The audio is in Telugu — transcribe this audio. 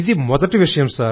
ఇది మొదటి విషయం